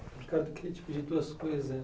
Ricardo, eu queria te pedir duas coisas.